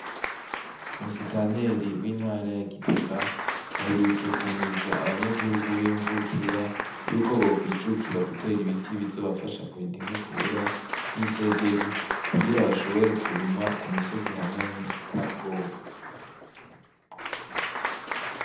Musitanteri w'intara ya gitega aherutse guhimiriza abanya gihugu b'imvukira yuko bokwijukira gutera ibiti, bizobafasha kurinda inkukura nk'isederi kugira bashobore kurima ku misozi ihanamye atabwoba.